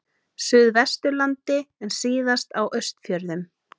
Suðvesturlandi en síðast á Austfjörðum.